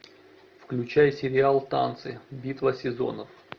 включай сериал танцы битва сезонов